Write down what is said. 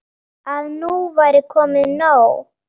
Að nú væri komið nóg.